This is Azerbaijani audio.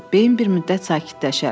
Beyin bir müddət sakitləşər.